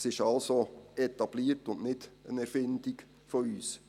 Es ist also etabliert und nicht eine Erfindung von uns.